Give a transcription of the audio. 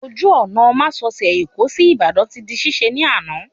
Ojú ọ̀nà másosẹ̀ Èkó sí Ìbàdàn ti di ṣíṣe ní àná